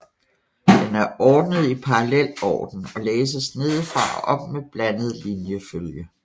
Den er ordnet i parallelorden og læses nedefra og op med blandet linjefølge